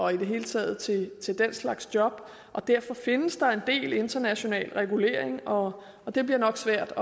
hele taget til den slags job derfor findes der en del international regulering og og det bliver nok svært